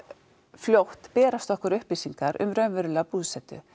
fljótt berast okkur upplýsingar um raunverulega búsetu